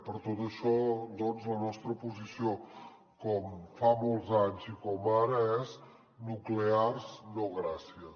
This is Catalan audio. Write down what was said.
per tot això doncs la nostra posició com fa molts anys i com ara és nuclears no gràcies